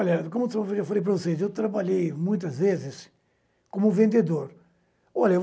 Olha, como eu já falei para vocês, eu trabalhei muitas vezes como vendedor. Olha